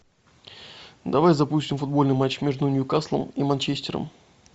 давай запустим футбольный матч между ньюкаслом и манчестером